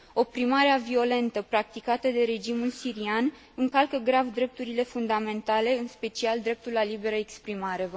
Oprimarea violentă practicată de regimul sirian încalcă grav drepturile fundamentale, în special dreptul la liberă exprimare.